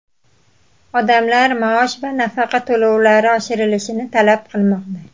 Odamlar maosh va nafaqa to‘lovlari oshirilishini talab qilmoqda.